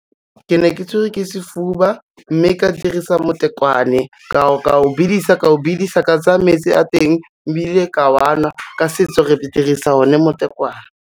Ke ne ke tshwere ke sefuba, mme ka dirisa motekwane, ka o bidisa, ka o bidisa ka tsaya metsi a teng ebile ka a nwa, ka setso re dirisa o ne motekwane.